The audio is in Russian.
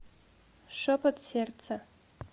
шепот сердца